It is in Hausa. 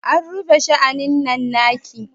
A rufe sha'anin nan take!